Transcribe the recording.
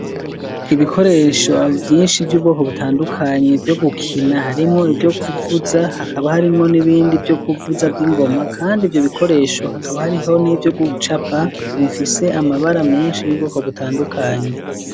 Ibikoresho abo vyinshi vy'ubwoko butandukanyi ivyo gukina harimwo ivyo kuvuza hakaba harimwo n'ibindi vyo kuvuza vy'ingoma, kandi ivyo bikoresho hakaba hariho n'ivyo gucapa bifise amabara menshi y'ubwoko butandukanyi.